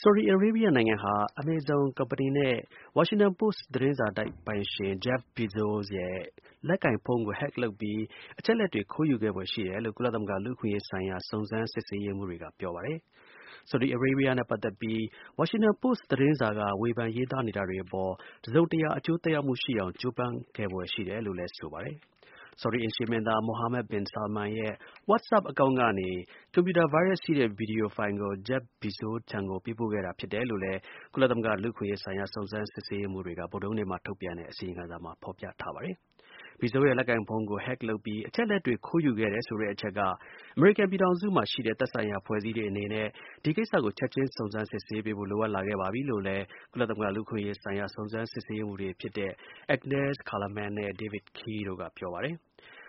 ဆော်ဒီအာရေဗျနိုင်ငံဟာ Amazon ကုမ္ပဏီနဲ့ ဝါရှင်တန်ပိုစ် သတင်းစာတိုက်ပိုင်ရှင် Jeff Bezos ရဲ့ လက်ကိုင်ဖုန်းကို Hack လုပ်ပြီး အချက်အလက်တွေ ခိုးယူခဲ့ဖွယ် ရှိတယ်လို့ ကုလသမဂ္ဂ လူ့အခွင့်အရေးဆိုင်ရာ စုံစမ်း စစ်ဆေးရေးမှူးတွေက ပြောပါတယ်။ ဆော်ဒီနဲ့ ပတ်သက်ပြီး ဝါရှင်တန်ပိုစ့် သတင်းစာက ရေးသားနေတာတွေ အပေါ် တစ်စုံတစ်ရာ အကျိုး သက်ရောက်မှု ရှိအောင် ကြိုးပမ်း ခဲ့ဖွယ်ရှိတယ်လို့ ဆိုပါတယ်။ ဆော်ဒီ အိမ်ရှေ့မင်းသား Mohammed bin Salman ရဲ့ WhatsApp အကောင့်ကနေ ကွန်ပြူတာ ဗိုင်းရပ်စ် ရှိတဲ့ ဗီဒီယို ဖိုင်ကို Jeff Bezos ကို ပေးပို့ခဲ့တာ ဖြစ်တယ်လို့လည်း ကုလသမဂ္ဂ လူ့အခွင့်အရေးဆိုင်ရာ စုံစမ်း စစ်ဆေးရေးမှူးတွေက ဗုဒ္ဓဟူးနေ့မှာ ထုတ်ပြန်တဲ့ အစီရင်ခံစာမှာ ပါရှိပါတယ်။ Bezos ရဲ့ လက်ကိုင်ဖုန်းကို hack လုပ်ပြီး အချက်အလက်တွေကို ခိုးယူခဲ့တယ်ဆိုတဲ့ အချက်က အမေရိကန် ပြည်ထောင်စုမှာ ရှိတဲ့ သက်ဆိုင်ရာ အဖွဲ့အစည်းတွေ အနေနဲ့ ဒီကိစ္စကို ချက်ချင်း စုံစမ်းစစ်ဆေးဖို့ လိုအပ်လာခဲ့ပါပြီလို့လည်း ကုလသမဂ္ဂ လူ့အခွင့်အရေးဆိုင်ရာ စုံစမ်း စစ်ဆေးရေးမှူးတွေဖြစ်တဲ့ Agnes Callamand နဲ့ David Kaye တို့က ပြောပါတယ်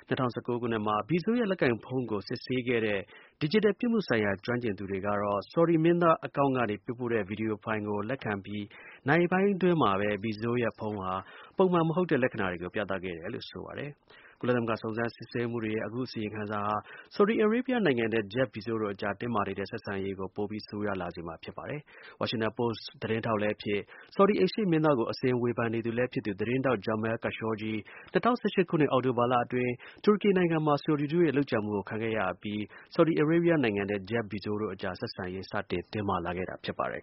။ ၂၀၁၉ ခုနှစ်မှာ Bezos ရဲ့ လက်ကိုင်ဖုန်းကို စစ်ဆေးခဲ့တဲ့ ဒီဂျီတယ် ပြစ်မှုဆိုင်ရာ ကျွမ်းကျင်သူတွေက ဆော်ဒီ မင်းသား account ကနေ ပေးပို့တဲ့ ဗီဒီယိုဖိုင်ကို လက်ခံပြီး နာရီပိုင်းအကြာမှာပဲ Bezos ရဲ့ ဖုန်းဟာ ပုံမမှန်တဲ့ လက္ခဏာတွေကို ပြသခဲ့တာလို့ ဆိုပါတယ်။ ကုလသမဂ္ဂ စုံစမ်းစစ်ဆေးရေးမှူးတွေရဲ့ အခု အစီရင်ခံစာဟာ ဆော်ဒီ အာရေဗျနိုင်ငံနဲ့ Jeff Bezos တို့အကြား တင်းမာနေတဲ့ ဆက်ဆံရေးကို ပိုပြီး ဆိုးရွားလာစေမှာ ဖြစ်ပါတယ်။ ဝါရှင်တန်ပိုစ့် သတင်းထောက်လည်းဖြစ် ဆော်ဒီ အိမ်ရှေ့မင်းသားကို အစဉ် ဝေဖန်နေသူလည်းဖြစ်သူ သတင်းထောက် Jamal Khashoggi ၂၀၁၈ ခုနှစ် အောက်တိုဘာလအတွင်း တူရကီနိုင်ငံမှာ ဆော်ဒီတို့ရဲ့ လုပ်ကြံမှုကိုခံခဲ့ရအပြီး ဆော်ဒီ အာရေဗျနိုင်ငံနဲ့ Jeff Bezos တို့အကြား ဆက်ဆံရေး စတင် တင်းမာလာခဲ့တာ ဖြစ်ပါတယ်